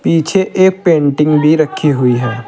पीछे एक पेंटिंग भी रखी हुई है।